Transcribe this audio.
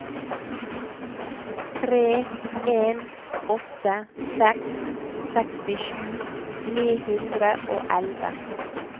tre en åtte seks sekstisju ni hundre og elleve